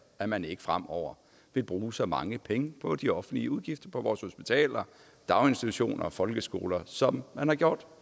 at man ikke fremover vil bruge så mange penge på de offentlige udgifter på vores hospitaler daginstitutioner og folkeskoler som man har gjort